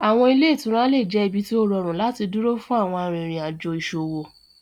Awọn ile-itura le jẹ ibi ti o rọrun lati duro fun awọn arinrin ajo iṣowo.